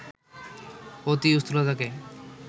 অতি স্থূলতাকে